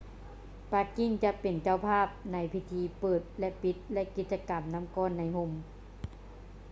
ປັກກິ່ງຈະເປັນເຈົ້າພາບໃນພິທີເປີດ ແລະ ປິດ ແລະ ກິດຈະກຳນໍ້າກ້ອນໃນຮົ່ມ